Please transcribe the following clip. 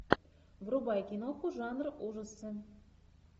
врубай киноху жанра ужасы